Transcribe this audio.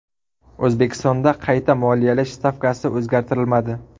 O‘zbekistonda qayta moliyalash stavkasi o‘zgartirilmadi.